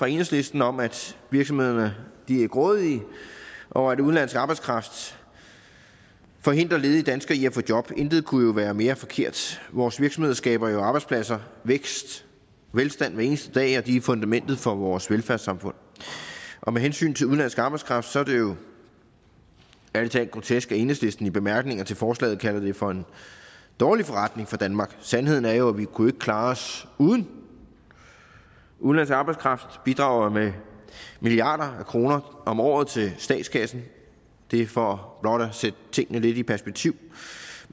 enhedslisten om at virksomhedsejere er grådige og at udenlandsk arbejdskraft forhindrer ledige danskere i at få job intet kunne være mere forkert vores virksomheder skaber arbejdspladser vækst og velstand hver eneste dag og de er fundamentet for vores velfærdssamfund og med hensyn til udenlandsk arbejdskraft er det jo ærlig talt grotesk at enhedslisten i bemærkningerne til forslaget kalder det for en dårlig forretning for danmark sandheden er jo at vi ikke kunne klare os uden udenlandsk arbejdskraft de bidrager jo med milliarder af kroner om året til statskassen det er for blot at sætte tingene lidt i perspektiv